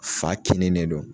Fa kinni ne don